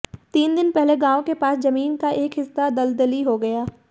तीन दिन पहले गांव के पास जमीन का एक हिस्सा दलदली हो गया